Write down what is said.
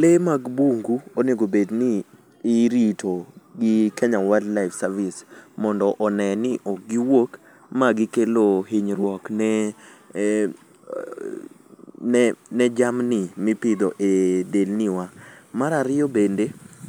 Le mag bungu onego bed ni irito gi kenya wild life service mondo one ni ok giwuok magi kelo hinyruok ne jamni mipidho e delni wa , mara riyo